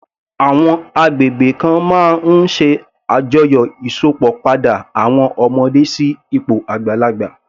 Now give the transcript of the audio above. Àwọn agbègbè kan máa ń ṣe àjọyọ̀ Ìsópọ̀ padà àwọn ọmọdé sí ipò àgbàlagbà